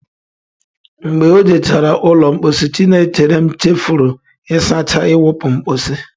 Mgbe o jechara ụlọ mposi, Chinecherem chefuru ịsacha iwupu mposi.